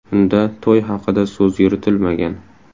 Unda to‘y haqida so‘z yuritilmagan.